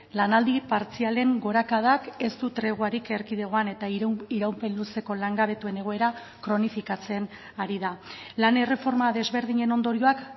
lanaldi partzialen gorakadak ez du treguarik erkidegoan eta iraupen luzeko langabetuen egoera kronifikatzen ari da lan erreforma desberdinen ondorioak